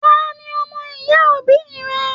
Taní ọmọ-ìyá òbí rẹ?